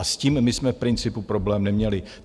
A s tím my jsme v principu problém neměli.